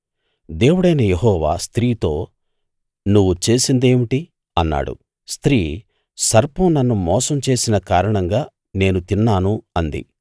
దేవుడైన యెహోవా స్త్రీతో నువ్వు చేసిందేమిటి అన్నాడు స్త్రీ సర్పం నన్ను మోసం చేసిన కారణంగా నేను తిన్నాను అంది